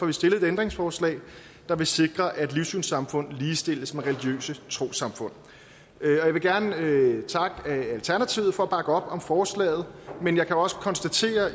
vi stillet et ændringsforslag der vil sikre at livssynssamfund ligestilles med religiøse trossamfund jeg vil gerne takke alternativet for at bakke op om forslaget men jeg kan også konstatere